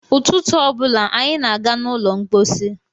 Ụtụtụ ọ bụla anyị na-aga n'ụlọ mkpọsi.